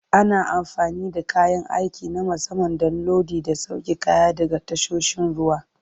Ana amfani da kayan aiki na musamman don lodi da sauke kaya daga tasoshin ruwa.